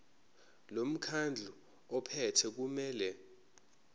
lomkhandlu ophethe kumele